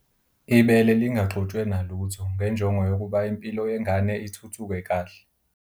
.ibele lingaxutshwe nalutho ngenjongo yokuba impilo yengane ithuthuke kahle.